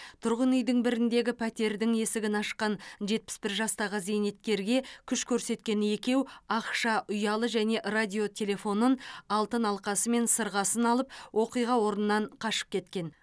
тұрғын үйдің біріндегі пәтердің есігін ашқан жетпіс бір жастағы зейнеткерге күш көрсеткен екеу ақша ұялы және радио телефонын алтын алқасы мен сырғасын алып оқиға орнынан қашып кеткен